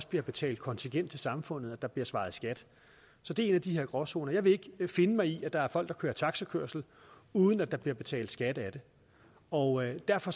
bliver betalt kontingent til samfundet at der bliver svaret skat så det er en af de her gråzoner jeg vil ikke finde mig i at der er folk der kører taxakørsel uden at der bliver betalt skat af det og derfor